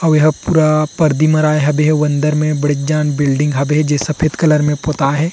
आऊ ये ह पूरा परदी मराए हावे आऊ अंदर में बड़ेक जान बिल्डिंग हावे जे ह सफेद कलर में पोताये हे।